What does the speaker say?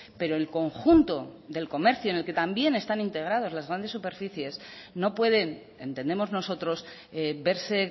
pero el conjunto del comercio en el que también están integradas las grandes superficies no pueden entendemos nosotros verse